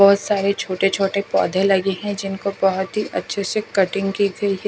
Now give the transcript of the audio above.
बहोत सारे छोटे छोटे पौधे लगे हैं जिनको बहोत ही अच्छे से कटिंग की गई है।